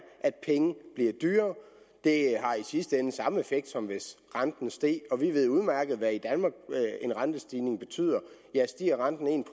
at penge bliver dyrere det har i sidste ende samme effekt som hvis renten steg og vi ved udmærket i danmark hvad en rentestigning betyder stiger renten en